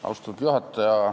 Austatud juhataja!